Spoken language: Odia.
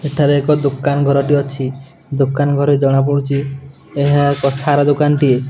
ଏଠାରେ ଏକ ଦୋକାନ ଘରଟି ଅଛି ଦୋକାନ ଘରେ ଜଣାପଡୁଚି ଏହା ଏକ ସାର ଦୋକାନ ଟିଏ।